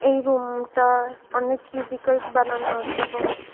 room টায় অনেক cubicles বানানো আছে এবং --